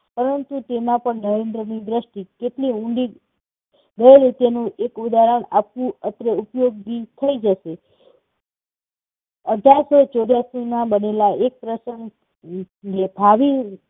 પરંતુ તેમાં પણ નરેન્દ્રની દ્રષ્ટિ કેટલી ઊંડી. તે રીતેનું એક ઉદાહરણ આપવું અત્રે ઉપયોગી થઇ જશે. અઢારસો ચોર્યાસીમાં બનેલા એક પ્રસંગ